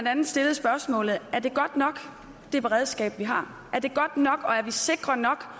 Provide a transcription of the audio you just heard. andet stillede spørgsmålet er det godt nok det beredskab vi har er det godt nok og er vi sikre nok